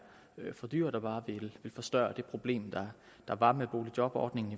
for dyrt at bare ville forstørre det problem der var med boligjobordningen